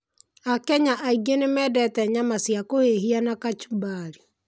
Akenya aingĩ nĩ mendete nyama cia kũhĩhia na kachumbari.